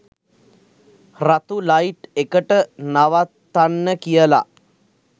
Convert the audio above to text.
රතු ලයිට් එකට නවත්තන්න කියලා